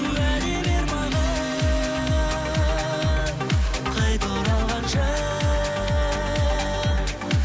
уәде бер маған қайта оралғанша